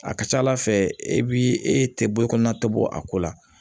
A ka ca ala fɛ e bi e tɛ bɔ i kɔnɔna tɔbɔ a ko la